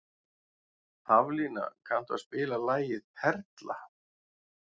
Haflína, kanntu að spila lagið „Perla“?